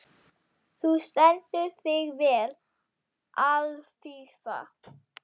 Þú stendur þig vel, Alfífa!